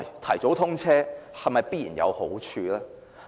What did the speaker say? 提早通車是否必然有好處？